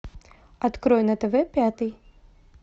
открой на тв пятый